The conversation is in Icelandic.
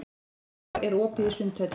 Ýrar, er opið í Sundhöllinni?